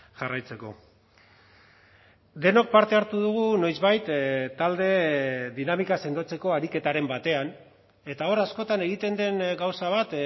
jarraitzeko denok parte hartu dugu noizbait talde dinamika sendotzeko ariketaren batean eta hor askotan egiten den gauza bat